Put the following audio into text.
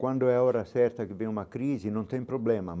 Quando é a hora certa que vem uma crise, não tem problema.